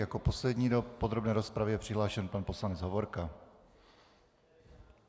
Jako poslední do podrobné rozpravy je přihlášen pan poslanec Hovorka.